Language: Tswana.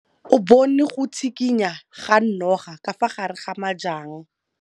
O bone go tshikinya ga noga ka fa gare ga majang.